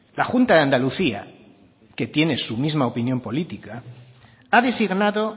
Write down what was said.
la junta de andalucía que tiene su misma opinión política ha designado